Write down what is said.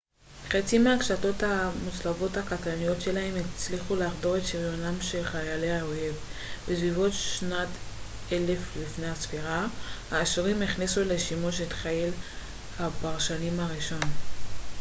חצים מהקשתות המוצלבות הקטלניות שלהם הצליחו לחדור את שריונם של חיילי האויב בסביבות שנת 1000 לפנה ס האשורים הכניסו לשימוש את חיל הפרשים הראשון